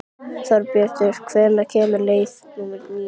Þorbrandur, hvenær kemur leið númer níu?